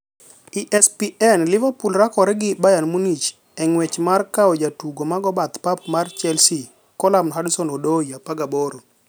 (ESPN) Liverpool rakore gi Bayern Munich e ng'wech mar kawojatugo ma go bath pap mar Chelsea Callum Hudson-Odoi, 18.